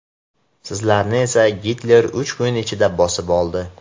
Sizlarni esa Gitler uch kun ichida bosib oldi.